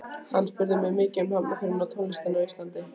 Hann spurði mig mikið um Hafnarfjörð og tónlistina á Íslandi.